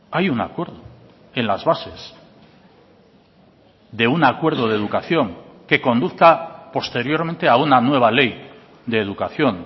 hay un acuerdo en las bases de un acuerdo de educación que conduzca posteriormente a una nueva ley de educación